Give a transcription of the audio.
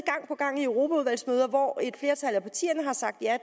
i europaudvalgsmøder hvor et flertal af partierne har sagt ja